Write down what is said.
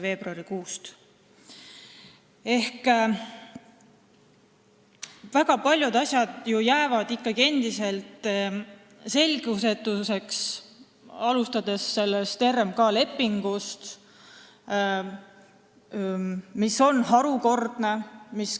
Väga paljud asjad jäävad ju ikkagi endiselt selgusetuks, alustades sellest RMK lepingust, mis on harukordne.